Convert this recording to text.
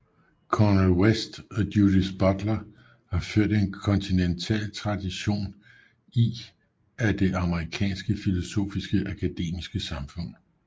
Cornel West og Judith Butler har ført en kontinental tradition i af det amerikanske filosofiske akademiske samfund